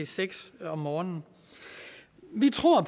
seks om morgenen vi tror